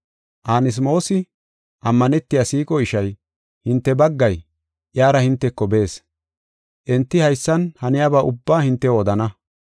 Anasmoosi, ammanetiya siiqo ishay, hinte baggay, iyara hinteko bees. Enti haysan haniyaba ubbaa hintew odana.